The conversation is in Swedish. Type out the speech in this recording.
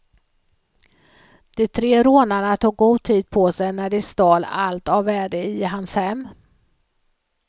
De tre rånarna tog god tid på sig när de stal allt av värde i hans hem.